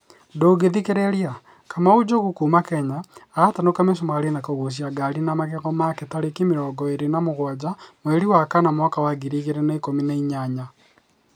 Ndũngĩthikĩrĩria; Kamau Njogu’ kuuma Kenya, aratanuka mi͂cumari͂ na ku͂guuci͂a ngari na magego make tarĩki mĩrongo ĩrĩ na mũgwanja mweri wa kana mwaka wa ngiri igĩrĩ na ikũmi na inyanya